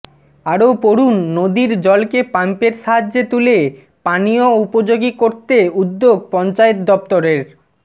আরও পড়ুন নদীর জলকে পাম্পের সাহায্যে তুলে পানীয় উপযোগী করতে উদ্যোগ পঞ্চায়েত দফতরের